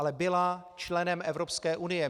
Ale byla členem Evropské unie.